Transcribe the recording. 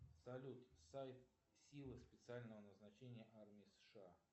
салют сайт силы специального назначения армии сша